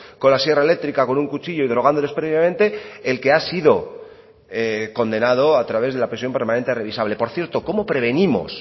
con la sierra eléctrica con un cuchillo y drogándoles previamente el que ha sido condenado a través de la prisión permanente revisable por cierto cómo prevenimos